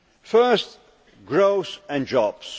First, growth and jobs.